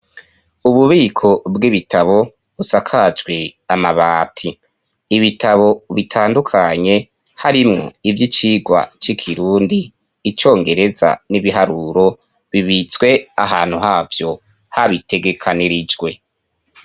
Ububiko bw'ibitabo busakajwe amabati, ibitabo bitandukanye harimwo ivy'icigwa c'ikirundi, icongereza n'ibiharuro, bibitswe ahantu havyo habitegekanirijwe.